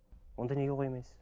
онда неге қоймайсыз